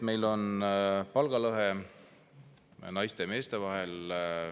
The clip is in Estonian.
Meil on lõhe naiste ja meeste palga vahel.